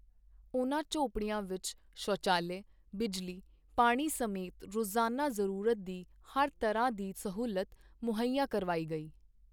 ਉਨ੍ਹਾਂ ਝੌਂਪੜੀਆਂ ਵਿੱਚ ਸ਼ੌਚਾਲਿਆ, ਬਿਜਲੀ, ਪਾਣੀ ਸਮੇਤ ਰੋਜ਼ਾਨਾ ਜ਼ਰੂਰਤ ਦੀ ਹਰ ਤਰ੍ਹਾਂ ਦੀ ਸਹੂਲਤ ਮੁਹੱਈਆ ਕਰਵਾਈ ਗਈ।